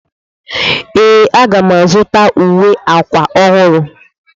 Ee,a ga m azụta uwe akwa ọhụrụ.